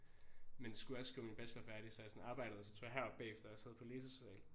Men skulle også skrive min bachelor færdig så jeg sådan arbejde og så tog jeg herop bagefter og sad på læsesal